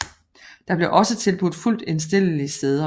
Der blev også tilbudt fuldt indstillelige sæder